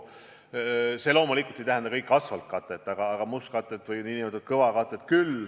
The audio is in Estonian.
See loomulikult ei tähenda täies mahus asfaltkatte tagamist, küll aga mustkatte või n-ö kõvakatte ehitamist.